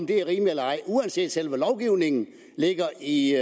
det er rimeligt eller ej uanset at selve lovgivningen ligger i